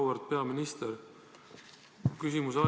Auväärt peaminister!